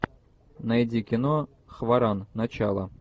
найди кино хваран начало